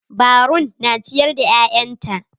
Barun na ciyar da ƴaƴanta.